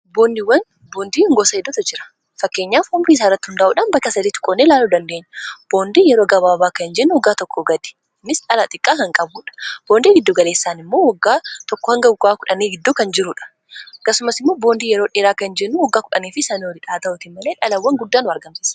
boondiiwwan boondiin gosa hedduutu jira fakkeenyaaf boondii birii saarratti hundaa'uudhaan bakka 3tti qoodne ilaaluu dandeenya boondii yeroo gabaabaa kan jennu waggaa tokko gadi innis dhalaa xiqqaa kan qabuudha boondii giddu galeessaan immoo waggaa tokkoo hanga 10 giddu kan jiruudha akkasumas immoo boondii yeroo dheeraa kan jennu waggaa 10 fi sana oli dhaa ta'utiin malee dhalawwan guddaan argamsisa.